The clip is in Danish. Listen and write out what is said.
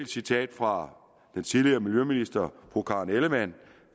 citat fra den tidligere miljøminister fru karen ellemann